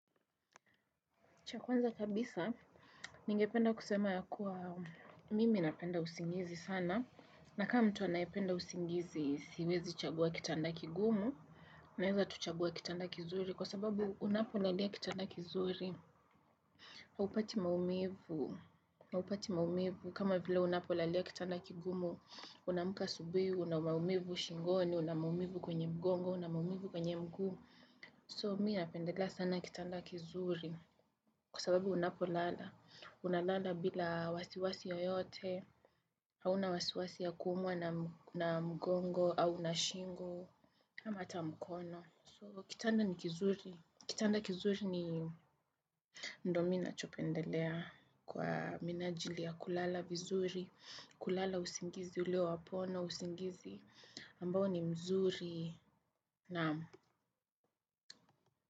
Cha kwanza kabisa, ningependa kusema ya kuwa mimi napenda usingizi sana. Na kama mtu anayependa usingizi, siwezi chagua kitanda kigumu, naweza tu chagua kitanda kizuri, kwa sababu unapolalia kitanda kizuri, haupati maumivu, haupati maumivu, kama vile unapolalia kitanda kigumu, unaamka asubuhi, una maumivu shingoni, una maumivu kwenye mgongo, una maumivu kwenye mguu. So mii napendela sana kitanda kizuri kwa sababu unapolala unalala bila wasiwasi yoyote hauna wasiwasi ya kuumwa na mgongo au na shingo ama hata mkono. So kitanda ni kizuri kitanda kizuri ni ndo mimi nachopendelea kwa minajili ya kulala vizuri. Kulala usingizi ulio wa pono usingizi ambao ni mzuri. Naam.